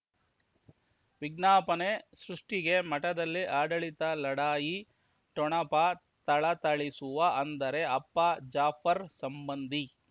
ವಿಜ್ಞಾಪನೆ ಸೃಷ್ಟಿಗೆ ಮಠದಲ್ಲಿ ಆಡಳಿತ ಲಢಾಯಿ ಠೊಣಪ ಥಳಥಳಿಸುವ ಅಂದರೆ ಅಪ್ಪ ಜಾಫರ್ ಸಂಬಂಧಿ